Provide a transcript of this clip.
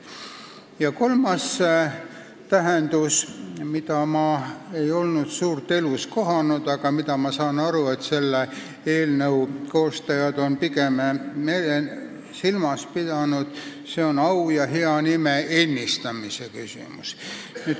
Ja kolmas tähendus, mida ma ei ole elus suurt kohanud, aga mida minu arusaama järgi selle eelnõu koostajad on silmas pidanud, on au ja hea nime ennistamine.